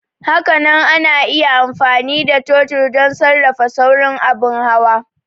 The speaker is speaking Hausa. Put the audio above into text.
Hakanan ana iya amfani da totir don sarrafa saurin abin hawa.